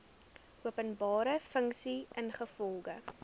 openbare funksie ingevolge